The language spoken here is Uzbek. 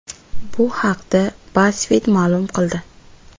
Bu haqda BuzzFeed ma’lum qildi .